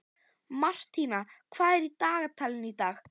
Martína, hvað er á dagatalinu í dag?